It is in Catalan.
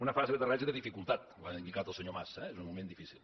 una fase d’aterratge de dificultat ho ha indicat el senyor mas eh és un moment difícil